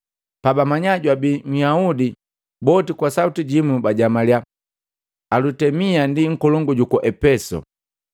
Pabamanya jwabi Nhyaudi, boti kwa sauti jimu bajamaliya, “Alutemia ndi nkolongu juku Epesu.”